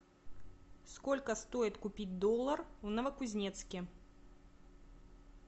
сколько стоит купить доллар в новокузнецке